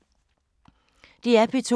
DR P2